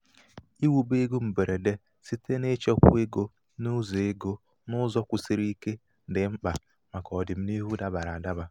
iwube ego mgberede site n'ichekwa ego n'ụzọ ego n'ụzọ kwusiri ike dị mkpa màkà ọdịnihu dabara adaba.